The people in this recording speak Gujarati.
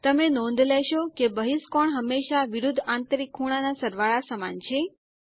તમે નોંધ લેશો કે બહિષ્કોણ હંમેશા વિરુદ્ધ આંતરિક ખૂણાના સરવાળા સમાન છે